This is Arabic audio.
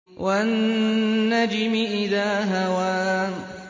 وَالنَّجْمِ إِذَا هَوَىٰ